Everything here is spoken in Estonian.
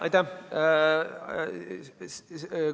Aitäh!